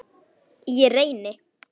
Ég reyni.